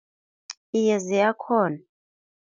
Iye, ziyakghona.